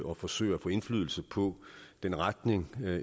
og forsøger at få indflydelse på den retning